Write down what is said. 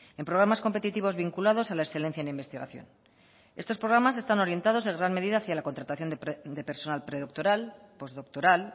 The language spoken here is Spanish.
en programas competitivos vinculados a la excelencia en investigación estos programas están orientados en gran medida hacia la contratación de personal predoctoral postdoctoral